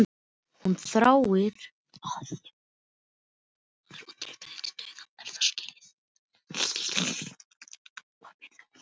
Hún þáði það með þökkum og þau héldu göngunni áfram.